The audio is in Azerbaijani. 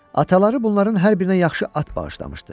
Ataları bunların hər birinə yaxşı at bağışlamışdı.